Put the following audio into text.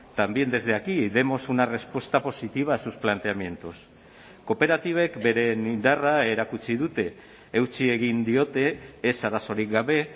también desde aquí y demos una respuesta positiva a sus planteamientos kooperatibek beren indarra erakutsi dute eutsi egin diote ez arazorik gabe